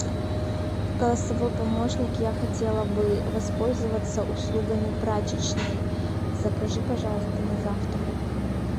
голосовой помощник я хотела бы воспользоваться услугами прачечной закажи пожалуйста на завтра